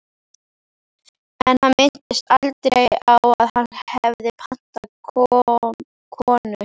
En hann minntist aldrei á að hann hefði pantað konu.